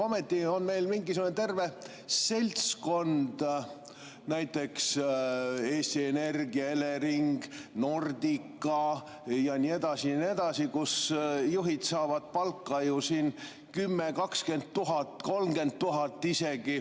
Ometi on meil mingisugune terve seltskond, näiteks Eesti Energia, Elering, Nordica ja nii edasi ja nii edasi, kus juhid saavad palka 10 000–20 000 eurot, isegi 30 000.